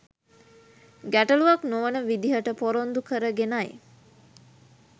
ගැටලූවක් නොවන විදිහට පොරොන්දු කරගෙනයි.